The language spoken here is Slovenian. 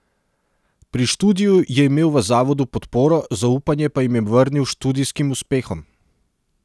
Pri študiju je imel v zavodu podporo, zaupanje pa jim je vrnil s študijskim uspehom.